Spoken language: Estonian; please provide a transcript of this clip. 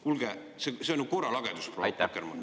Kuulge, see on ju korralagedus, proua Akkermann.